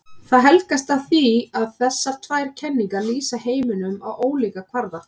Það helgast af því að þessar tvær kenningar lýsa heiminum á ólíkum kvarða.